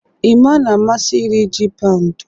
Emma na-amasị iri ji paụnd